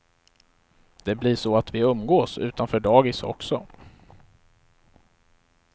Det blir så att vi umgås utanför dagis också.